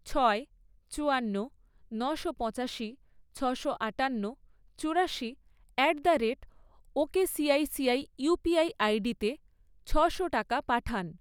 ছয়, চুয়ান্ন, নশো পঁচাশি, ছশো আটান্ন, চুরাশি at the rate okicici UPI আইডিতে ছশো টাকা পাঠান